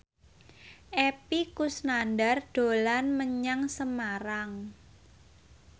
Epy Kusnandar dolan menyang Semarang